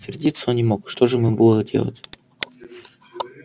сердиться он не мог что же ему было делать